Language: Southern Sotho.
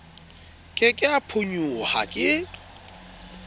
ke ke a phonyoha ke